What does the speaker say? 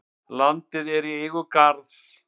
Landið er í eigu Garðs.